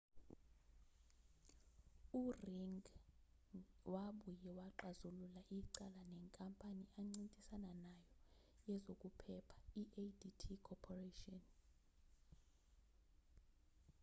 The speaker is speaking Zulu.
u-ring ngi wabuye waxazulula icala nenkampani ancintisana nayo yezokuphepha i-adt corporation